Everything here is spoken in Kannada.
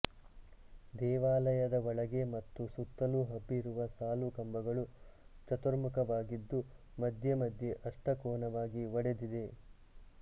ದೇವಾಲಯದ ಒಳಗೆ ಮತ್ತು ಸುತ್ತಲೂ ಹಬ್ಬಿರುವ ಸಾಲುಕಂಬಗಳು ಚತುರ್ಮುಖವಾಗಿದ್ದು ಮಧ್ಯೆ ಮಧ್ಯೆ ಅಷ್ಟಕೋನವಾಗಿ ಒಡೆದಿದೆ